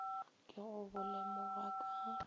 ke go bo lemoga ka